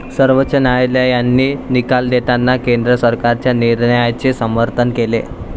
सर्वोच्च न्यायालयाने निकाल देताना केंद्र सरकारच्या निर्णयाचे समर्थन केले.